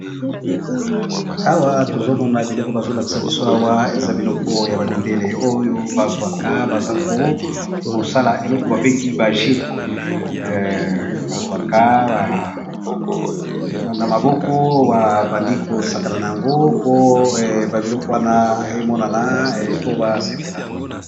Awa tozomona biloko bazo lakisa biso awa, ezali bongo biloko ba mindélé basalelaka juice